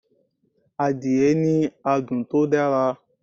Adìẹ ní adùn tó dára